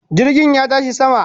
Jirgin ya tashi sama